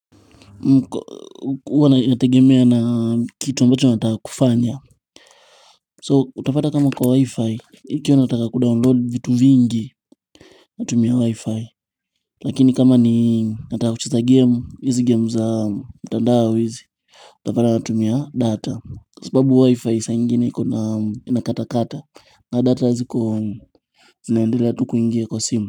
Mko huwa nategemea na kitu ambacho nataka kufanya So utapata kama kwa wi-fi Ikio nataka kudownload vitu vingi Natumia wi-fi Lakini kama ni nataka kucheza gemu hizi gemu za mtandao hizi Utapata natumia data Kwa sababu wi-fi saa ingine inakata kata na data ziko zinaendelea tu kuingia kwa simu.